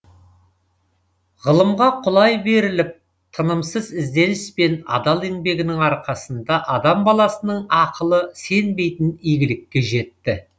ғылымға құлай беріліп тынымсыз ізденіс пен адал еңбегінің арқасында адам баласының ақылы сенбейтін игілікке жетті